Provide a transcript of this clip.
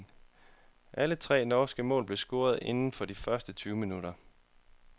Alle tre norske mål blev scoret inden for de første tyve minutter.